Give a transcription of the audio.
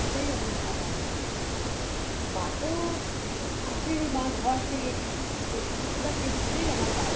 ওটাই আমার বাবা আমার পিছনে মা তো আছেনই মা ঘর থেকে কিন্তু প্রত্যেকটা ক্ষেত্রেই আমার বাবা